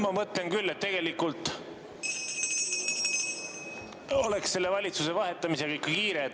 Ma mõtlen küll, et tegelikult on selle valitsuse vahetamisega ikka kiire.